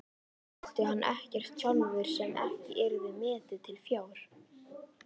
Átti hann ekkert sjálfur sem ekki yrði metið til fjár?